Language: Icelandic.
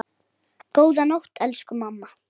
Góða nótt, elsku mamma.